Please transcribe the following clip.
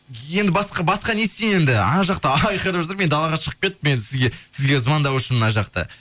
енді басқа не істейін енді ана жақта айқайлап жатыр мен далаға шығып кеттім енді сізге звондау үшін мына жақта